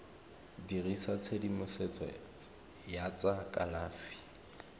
dirisa tshedimosetso ya tsa kalafi